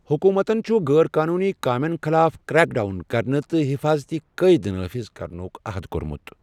حکوٗمتَن چھُ غٲر قونوٗنی کامین خِلاف کرٛیک ڈاون کرنہٕ تہٕ حفٲظتی قٲیدٕ نٲفذ کرنُک عہد کوٚرمُت۔